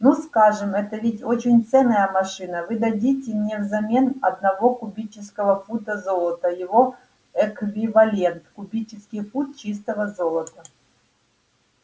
ну скажем это ведь очень ценная машина вы дадите мне взамен одного кубического фута золота его эквивалент кубический фут чистого золота